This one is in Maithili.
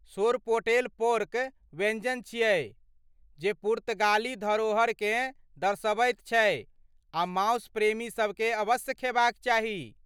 सोरपोटेल पोर्क व्यञ्जन छियै जे पुर्तगाली धरोहरकेँ दर्शबैत छै आ मासु प्रेमीसभकेँ अवश्य खेबाक चाही।